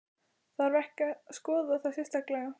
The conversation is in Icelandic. Þarf ekki að skoða það sérstaklega?